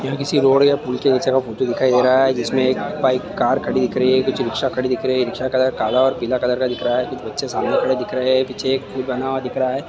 यह किसी रोड या पूल के निचे का फोटो दिखाई दे रहा है जिसमे एक बाइक कार खड़ी हुई दिख रही है। कुछ रिक्शा खड़ी दिख रही है। रिक्शा का कलर काला और पीला कलर का दिख रहा है। कुछ बच्चे सामने खड़े हुए दिख रहे हैं। पीछे एक पूल बना हुआ दिख रहा है।